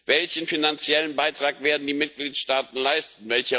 Welchen finanziellen Beitrag werden die Mitgliedstaaten leisten?